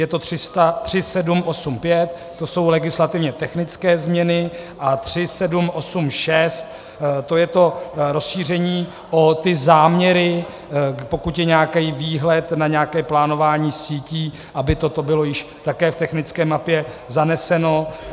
Je to 3785, to jsou legislativně technické změny, a 3786, to je to rozšíření o ty záměry, pokud je nějaký výhled na nějaké plánování sítí, aby toto bylo již také v technické mapě zaneseno.